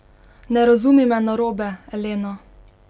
Ne razumi me narobe, Elena.